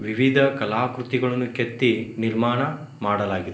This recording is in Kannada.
ವಿವಿಧ ಕಲಾಕೃತಿಗಳನ್ನು ಕೆತ್ತಿ ನಿರ್ಮಾಣ ಮಾಡಲಾಗಿದೆ.